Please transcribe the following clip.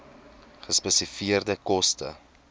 gespesifiseerde koste